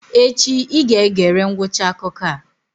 Echi I ga-egere ngwụcha akụkọ a!